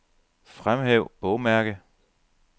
Fremhæv bogmærke.